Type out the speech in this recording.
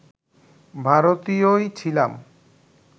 ভারতীয়ই ছিলাম